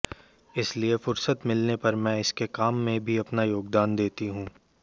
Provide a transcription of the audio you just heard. इसलिए फुरसत मिलने पर मैं इसके काम में भी अपना योगदान देती हूं